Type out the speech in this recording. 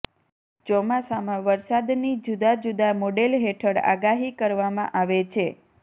ચોમાસામાં વરસાદની જુદા જુદા મોડેલ હેઠળ આગાહી કરવામાં આવે છે